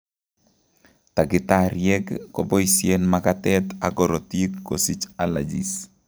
Takitariek koboisien makatet ak korotik kosich allergies